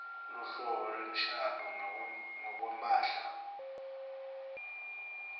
loluhlobo lwemshado ngekwemphahla